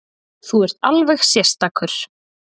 Þú ert alveg sérstakur!